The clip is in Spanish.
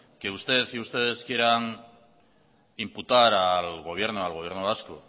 que usted y ustedes quieran imputar al gobierno al gobierno vasco